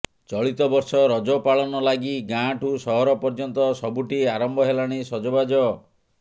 ଚଳିତ ବର୍ଷ ରଜ ପାଳନ ଲାଗି ଗାଁଠୁ ସହର ପର୍ଯ୍ୟନ୍ତ ସବୁଠି ଆରମ୍ଭ ହେଲାଣି ସଜବାଜ